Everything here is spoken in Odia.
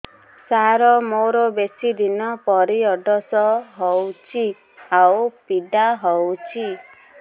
ସାର ମୋର ବେଶୀ ଦିନ ପିରୀଅଡ଼ସ ହଉଚି ଆଉ ପୀଡା ହଉଚି